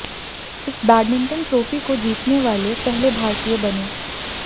इस badminton trophy को जीतने वाले पहले भारतीय बने